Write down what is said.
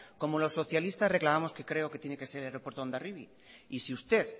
como los socialistas reclamamos que creo que tiene que ser el aeropuerto de hondarribia y si usted